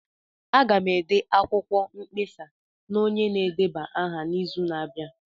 Aga m ede akwụkwọ mkpesa na onye na-edeba aha n'izu na-abịa.